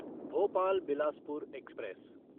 Bhopal Bilaspur express